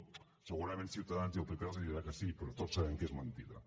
segurament ciutadans i el pp els diran que sí però tots sabem que és mentida